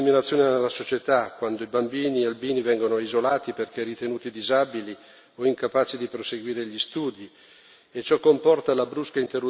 Ma la persecuzione si traduce anche in discriminazione nella società, quando i bambini albini vengono isolati perché ritenuti disabili o incapaci di proseguire gli studi.